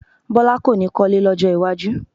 Bọ́lá kò ní kọ́lé lọ́jọ́ iwájú